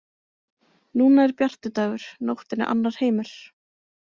Núna er bjartur dagur, nóttin er annar heimur.